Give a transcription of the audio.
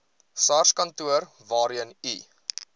sarskantoor waarheen u